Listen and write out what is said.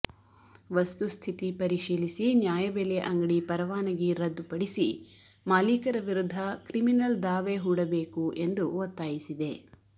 ವಸ್ತುಸ್ಥಿತಿ ಪರಿಶೀಲಿಸಿ ನ್ಯಾಯಬೆಲೆ ಅಂಗಡಿ ಪರವಾನಗಿ ರದ್ದುಪಡಿಸಿ ಮಾಲೀಕರ ವಿರುದ್ಧ ಕ್ರಿಮಿನಲ್ ದಾವೆ ಹೂಡಬೇಕು ಎಂದು ಒತ್ತಾಯಿಸಿದೆ